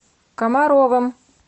комаровым